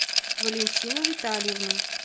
валентину витальевну